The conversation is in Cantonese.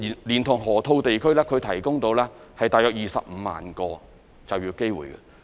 連同河套地區，可提供約25萬個就業機會。